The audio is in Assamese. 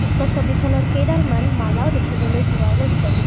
উক্ত ছবিখনত কেইডালমান মালাও দেখিবলৈ পোৱা গৈছে।